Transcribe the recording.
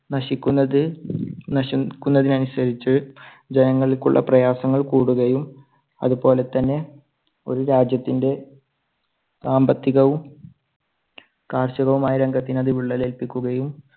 നശിക്കുന്നത്, നശിക്കുന്നതിനനുസരിച്ച് ജനങ്ങൾക്ക് ഉള്ള പ്രയാസങ്ങൾ കൂടുകയും അതുപോലെ തന്നെ ഒരു രാജ്യത്തിൻറെ സാമ്പത്തികവും, കാർഷികവുമായ രംഗത്തിന് അത് വിള്ളൽ ഏൽപ്പിക്കുകയും